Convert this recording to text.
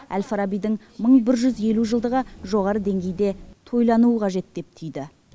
әл фарабидің бір мың жүз елу жылдығы жоғары деңгейде тойлануы қажет деп түйді